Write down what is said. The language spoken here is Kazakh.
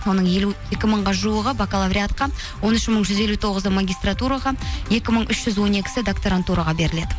оның елу екі мыңға жуығы бакалавриатқа он үш мың жүз елу тоғызы магистратураға екі мың үш жүз он екісі докторантураға беріледі